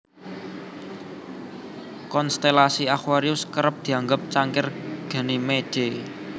Konstelasi aquarius kerep dianggep cangkir Ganymede